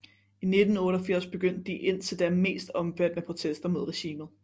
I 1988 begyndte de indtil da mest omfattende protester mod regimet